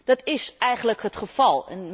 Dat is eigenlijk het geval.